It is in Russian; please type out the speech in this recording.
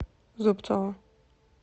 зубцова